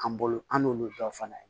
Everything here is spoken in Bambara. An bolo an n'olu bɛɛ fana ye